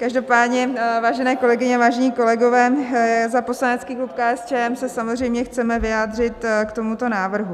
Každopádně, vážené kolegyně, vážení kolegové, za poslanecký klub KSČM se samozřejmě chceme vyjádřit k tomuto návrhu.